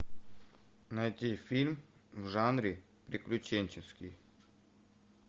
найти фильм в жанре приключенческий